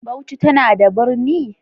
Bauchi tana da birni?